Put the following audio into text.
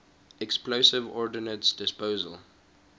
explosive ordnance disposal